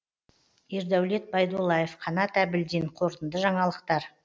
ердәулет байдуллаев қанат әбілдин қорытынды жаңалықтар